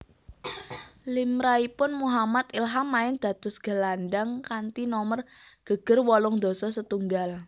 Limrahipun Muhammad Ilham main dados gelandhang kanthi nomer geger wolung dasa setunggal